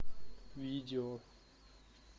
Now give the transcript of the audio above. видео